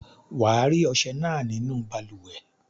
Wà á rí ọsẹ náà nínú balùwẹ̀.